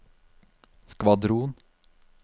skvadron